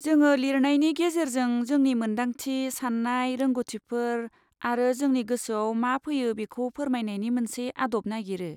जोङो लिरनायनि गेजेरजों जोंनि मोन्दांथि, सान्नाय, रोंग'थिफोर आरो जोंनि गोसोआव मा फैयो बेखौ फोरमायनायनि मोनसे आदब नागिरो।